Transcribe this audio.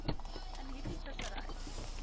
in hierdie vissery